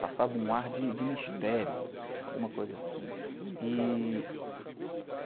Passava um ar de mistério, alguma coisa assim. E...